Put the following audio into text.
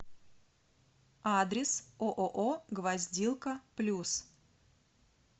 адрес ооо гвоздилка плюс